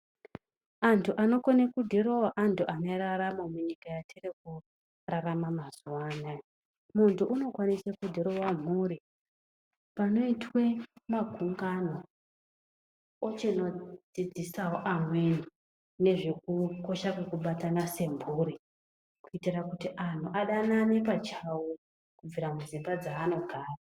Antu anokone kudhirowa antu ane raramo munyika yetiri kurarama mazuwa anaya. Muntu unokwanisa kudhirowa mhuri. Panoitwe magungano, ochinodzidzisawo amweni nezvekukosha kwekubatana semburi. Kuitira kuti anhu adanane pachawo kubvira mudzimba dzaanogara.